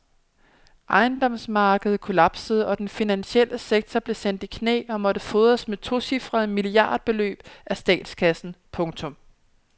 Ejendomsmarkedet kollapsede og den finansielle sektor blev sendt i knæ og måtte fodres med tocifrede milliardbeløb af statskassen. punktum